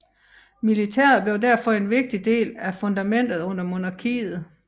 Militæret forblev derfor en vigtig del af fundamentet under monarkiet